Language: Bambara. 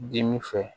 Dimi fɛ